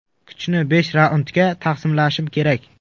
Kuchni besh raundga taqsimlashim kerak.